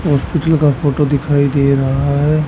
Hospital का photo दिखाई दे रहा है।